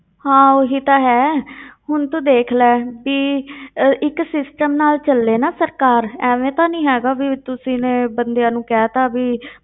ਹਾਂ ਉਹੀ ਤਾਂ ਹੈ ਹੁਣ ਤੂੰ ਦੇਖ ਲੈ ਵੀ ਅਹ ਇੱਕ system ਨਾਲ ਚੱਲੇ ਨਾ ਸਰਕਾਰ, ਐਵੇਂ ਤਾਂ ਨੀ ਹੈਗਾ ਵੀ, ਤੁਸੀਂ ਨੇ ਬੰਦਿਆਂ ਨੂੰ ਕਹਿ ਦਿੱਤਾ ਵੀ